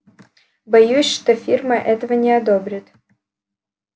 боюсь что фирма этого не одобрит